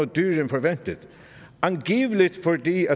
dyrere end forventet angiveligt fordi